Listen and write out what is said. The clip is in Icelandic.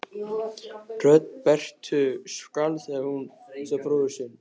Rödd Berthu skalf þegar hún sá bróður sinn.